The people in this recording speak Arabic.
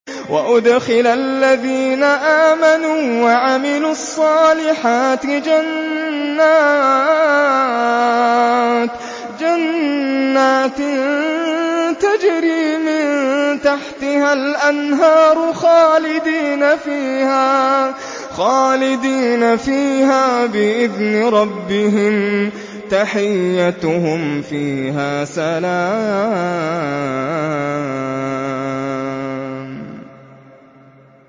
وَأُدْخِلَ الَّذِينَ آمَنُوا وَعَمِلُوا الصَّالِحَاتِ جَنَّاتٍ تَجْرِي مِن تَحْتِهَا الْأَنْهَارُ خَالِدِينَ فِيهَا بِإِذْنِ رَبِّهِمْ ۖ تَحِيَّتُهُمْ فِيهَا سَلَامٌ